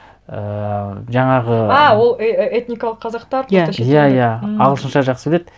ііі жаңағы а ол этникалық қазақтар просто шетелдер иә иә иә ағылшынша жақсы біледі